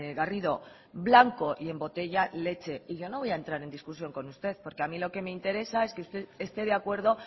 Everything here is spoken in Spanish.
garrido blanco y en botella leche y yo no voy a entrar en discusión con usted porque a mí lo que me interesa es que usted esté de acuerdo